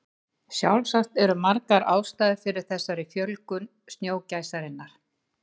Sjálfsagt eru margar ástæður fyrir þessari miklu fjölgun snjógæsarinnar.